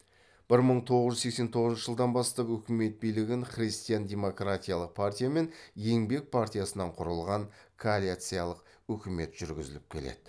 бір мың тоғыз жүз сексен тоғызыншы жылдан бастап өкімет билігін христиан демократиялық партия мен еңбек партиясынан құрылған коалициялық үкімет жүргізіп келеді